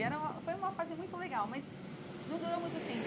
E era foi uma fase muito legal, mas não durou muito tempo.